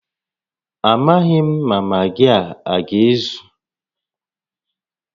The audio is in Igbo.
Amaghị m ma magị a aga-ezu